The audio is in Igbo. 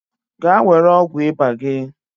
Gaa were ọgwụ ịba gị.